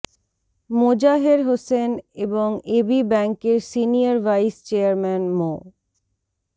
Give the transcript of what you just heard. মোজাহের হোসেন এবং এবি ব্যাংকের senior vice chairman মো